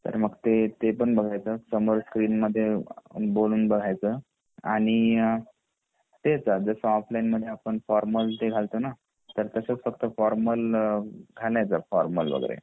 तर मग ते पण बघेच समोर स्क्रीन मध्ये बोलून बघायच आणि तेच जस ऑफलाइन मध्ये आपण फॉर्मल ते घालतो ंना तर तसंच फक्त फॉर्मल घालायच फॉर्मल वगैरे